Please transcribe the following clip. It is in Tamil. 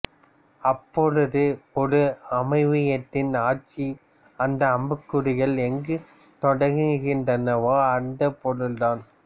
அப்பொழுது ஒரு அமைவியத்தின் ஆட்சி அந்த அம்புக்குறிகள் எங்கு தொடங்குகின்றனவோ அந்தப் பொருள் தான்